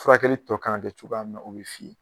Furakɛli tɔ kan ŋa kɛ cogoya mun na o be f'i ye